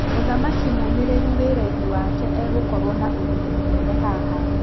"Mũthaki mũmĩrĩru wĩrainĩ wake, egũkorwo na ũguni mũnene haha."